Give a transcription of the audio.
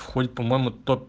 по-моему